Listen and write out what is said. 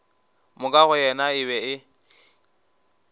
moka go yena e be